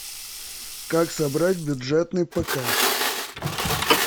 как собрать бюджетный пк